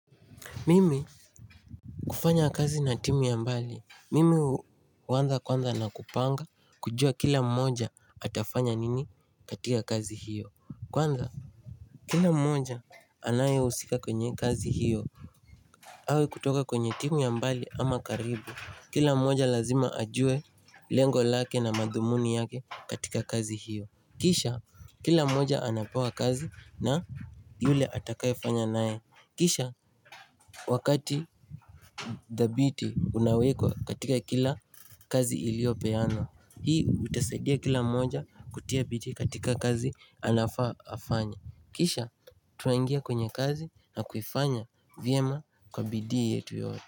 Mimi kufanya kazi na timu ya mbali Mimi hu huwanza kwanza na kupanga kujua kila mmoja atafanya nini katika kazi hiyo Kwanza kila mmoja anaye husika kwenye kazi hiyo awe kutoka kwenye timu ya mbali ama karibu Kila mmoja lazima ajue lengo lake na madhumuni yake katika kazi hiyo Kisha kila mmoja anapewa kazi na yule atakaefanya naye Kisha wakati the beauty Unawekwa katika kila kazi iliopeano Hii utasadia kila moja kutia bidii katika kazi anafaa afanya Kisha tunangia kwenye kazi na kuifanya vyema kwa bidii yetu yote.